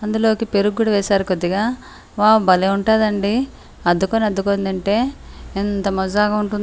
అందులోకి పెరుగు కూడా వేసారు కొద్దిగా వావ్ భలే ఉంటదండి అద్దుకొని అడ్డుకొని తింటే ఎంత మజాగా ఉంటూ--